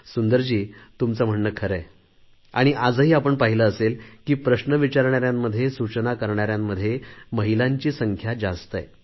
सुंदरजी तुमचे म्हणणे खरे आहे आणि आजही आपण पाहिले असेल की प्रश्न विचारण्यांमध्ये सूचना करणाऱ्यांमध्ये महिलांची संख्या जास्त आहे